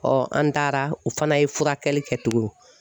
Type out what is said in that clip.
an taara o fana ye furakɛli kɛ tugun.